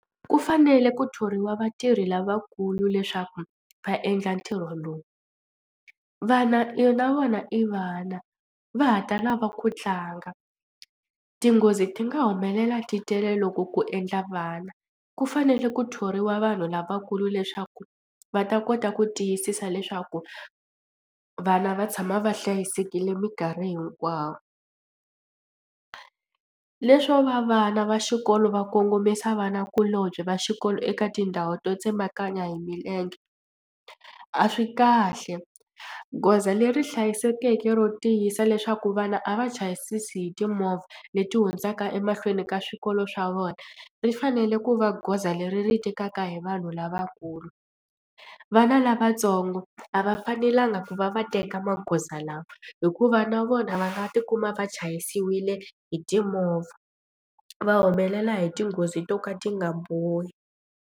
Ku fanele ku thoriwa vatirhi lavakulu leswaku va endla ntirho lowu. Vana na vona i vana va ha ta lava ku tlanga tinghozi ti nga humelela ti tele loko ku endla vana ku fanele ku thoriwa vanhu lavakulu leswaku va ta kota ku tiyisisa leswaku vana va tshama va hlayisekile mikarhi hinkwayo. Leswo va vana va xikolo va kongomisa vanakulombye va xikolo eka tindhawu to tsemakanya hi milenge a swi kahle goza leri hlayisekeke ro tiyisa leswaku vana a va chayisisi hi timovha leti hundzaka emahlweni ka swikolo swa vona ri fanele ku va goza leri ri tekaka hi vanhu lavakulu. Vana lavatsongo a va fanelanga ku va va teka magoza lawa hikuva na vona va nga tikuma va chayisiwile hi timovha va humelela hi tinghozi to ka ti nga bohi.